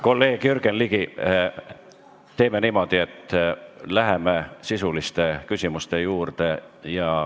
Kolleeg Jürgen Ligi, teeme niimoodi, et läheme sisuliste küsimuste juurde.